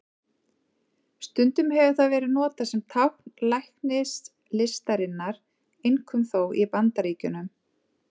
Stundum hefur það verið notað sem tákn læknislistarinnar, einkum þó í Bandaríkjunum.